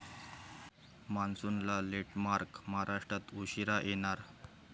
मान्सूनला लेटमार्क, महाराष्ट्रात उशिरा येणार!